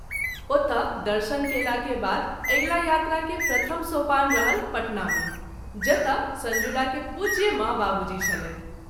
ओतए दर्शन कएला के बाद अगिला यात्रा के प्रथम सोपान रहल पटना मे जतय संजुला के पूज्य माँ बाबूजी छलैथ।